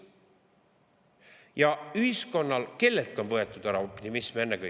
Ja kellelt ennekõike on võetud ära optimism?